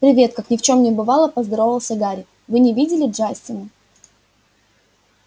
привет как ни в чём не бывало поздоровался гарри вы не видели джастина